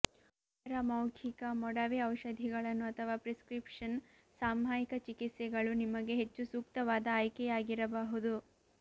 ಇತರ ಮೌಖಿಕ ಮೊಡವೆ ಔಷಧಿಗಳನ್ನು ಅಥವಾ ಪ್ರಿಸ್ಕ್ರಿಪ್ಷನ್ ಸಾಮಯಿಕ ಚಿಕಿತ್ಸೆಗಳು ನಿಮಗೆ ಹೆಚ್ಚು ಸೂಕ್ತವಾದ ಆಯ್ಕೆಯಾಗಿರಬಹುದು